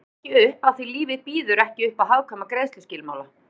Hún rann ekki upp afþví lífið býður ekki uppá hagkvæma greiðsluskilmála